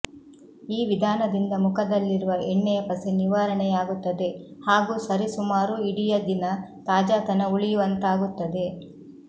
ಈ ವಿಧಾನದಿಂದ ಮುಖದಲ್ಲಿರುವ ಎಣ್ಣೆಯ ಪಸೆ ನಿವಾರಣೆಯಾಗುತ್ತದೆ ಹಾಗೂ ಸರಿಸುಮಾರು ಇಡಿಯ ದಿನ ತಾಜಾತನ ಉಳಿಯುವಂತಾಗುತ್ತದೆ